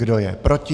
Kdo je proti?